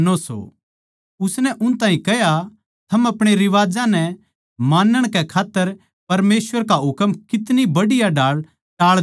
उसनै उन ताहीं कह्या थम आपणे रिवाजां नै मानण कै खात्तर परमेसवर का हुकम कितनी बढ़िया ढाळ टाळ द्यो सो